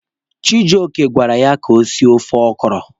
Chijioke gwara ya ka o sie ofe ọkọrọ.